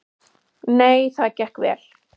Nei, það gekk vel.